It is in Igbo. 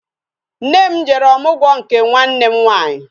Nne m jere ọmụgwọ n'nke nwanne m nwaanyị